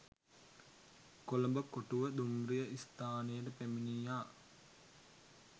කොළඹ කොටුව දුම්රිය ස්ථානයට පැමිණියා.